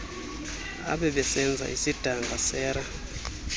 abebesenza isidanga sera